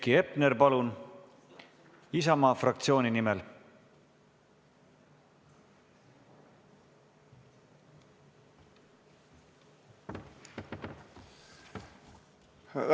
Heiki Hepner, palun, Isamaa fraktsiooni nimel!